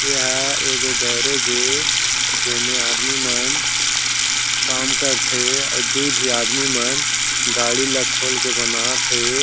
एहा एगो गेराज जेमे आदमी मन काम करत हे अउ दू झी आदमी मन गाड़ी ला खोल के बनावत हे।